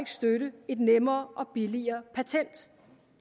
støtte et nemmere og billigere patent